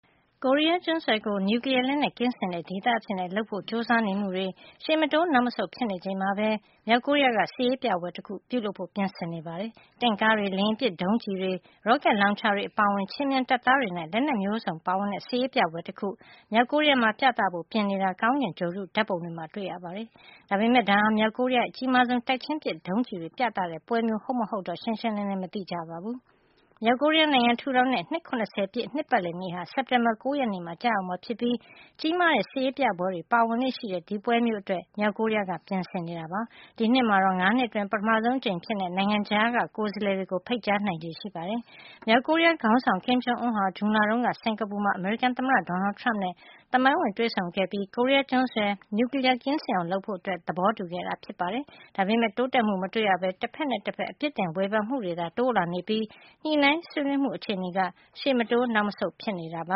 ကိုရီးယားကျွန်းဆွယ်ကို နျူကလီယားလက်နက်ကင်းစင်တဲ့ ဒေသအဖြစ်လုပ်ဆောင်ဖို့ ကြိုးစားနေမှုတွေ ရှေ့မတိုးနောက်မဆုတ် ဖြစ်နေချိန်မှာပဲ မြောက်ကိုရီးယားက စစ်ရေးပြပွဲတခုလုပ်ဖို့ ပြင်ဆင်နေပါတယ်။ တင့်ကားတွေ၊ လေယာဉ်ပစ်ဒုံးကျည်တွေ၊ ရော့ကက်လောင်ချာတွေ အပါအဝင် ခြေမြန်တပ်သားတွေနဲ့ လက်နက်မျိုးစုံပါဝင်တဲ့ စစ်ရေးပြပွဲတခု မြောက်ကိုရီးယားမှာ ပြသဖို့ ပြင်နေတာကို ကောင်းကင်ဂြိုဟ်တု ဓါတ်ပုံတွေမှာ တွေ့ရပါတယ်။ ဒါပေမယ့် ဒါဟာ မြောက်ကိုရီးယားရဲ့ အကြီးမားဆုံး တိုက်ချင်းပစ်ဒုံးကျည်တွေ ပြသတဲ့ ပွဲမျိုး ဟုတ်မဟုတ်တော့ ရှင်းရှင်းလင်းလင်း မသိကြပါဘူး။ မြောက်ကိုရီးယားနိုင်ငံ ထူထောင်တဲ့ နှစ် ၇၀ ပြည့် နှစ်ပတ်လည်နေ့ဟာ စက်တင်ဘာလ ၉ ရက်နေ့မှာ ကျရောက်မှာဖြစ်ပြီး ကြီးမားတဲ့ စစ်ရေးပြပွဲတွေ ပါဝင်လေ့ရှိတဲ့ ဒီပွဲအတွက် မြောက်ကိုရီးယားက ပြင်ဆင်နေတာပါ။ ဒီနှစ်မှာတော့ ၅ နှစ်အတွင်း ပထမဆုံး အကြိမ်အဖြစ် နိုင်ငံခြားက ကိုယ်စားလှယ်တွေကို ဖိတ်ကြားနိုင်ချေ ရှိနေပါတယ်။ မြောက်ကိုရီးယား ခေါင်းဆောင် Kim Jong Un ဟာ ဇွန်လတုန်းက စင်္ကာပူမှာ အမေရိကန် သမ္မတ Donald Trump နဲ့ သမိုင်းဝင်တွေ့ဆုံခဲ့ပြီး ကိုရီးယားကျွန်းဆွယ်မှာ နျူကလီယား ကင်းစင်အောင်လုပ်ဖို့ သဘောတူခဲ့တာ ဖြစ်ပါတယ်။ ဒါပေမယ့် တိုးတက်မှု မတွေ့ရပဲ တဖက်နဲ့ တဖက် အပစ်တင်ဝေဖန်မှုတွေ သာ တိုးလာနေပြီး ညှိနှိုင်းဆွေးနွေးမှု အခြေနေက ရှေ့မတိုးနောက်မဆုတ် ဖြစ်နေတာပ